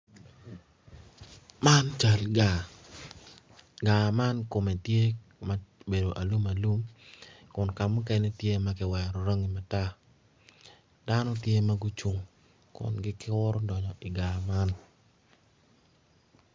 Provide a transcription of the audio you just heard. Man cal gar gaar man kome tye ma obedo alum alum kun kamukene tye matar dano tye ma gucung kun gikuru dongo i gaar man